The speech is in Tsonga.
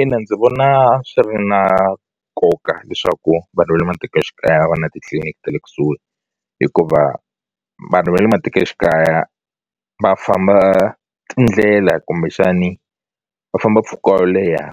Ina ndzi vona swi ri na nkoka leswaku vanhu va le matikoxikaya va na titliliniki ta le kusuhi hikuva vanhu va le matikoxikaya va famba tindlela kumbexani va famba mpfhuka wo leha